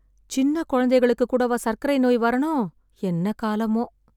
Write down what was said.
சின்னக் குழந்தைகளுக்கு கூடவா சர்க்கரை நோய் வரணும்... என்ன காலமோ...